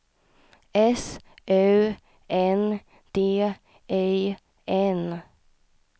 S U N D I N